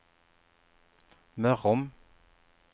Mörrum